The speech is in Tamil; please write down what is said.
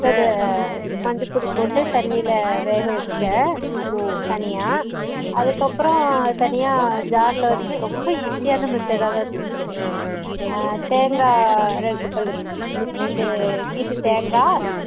அஹ் மஞ்ச துள் போட்டு தண்ணி ல வெக வெச்சுட்டான் தனிய அதுக்குஅப்பறோ தனிய jar ல இருந்து ரொம்ப easy ஆனா method ஆதன் இருந்துச்சு தேங்கா ரெண்டு பள்ளு அஹ் ரெண்டு கித்து தேங்கா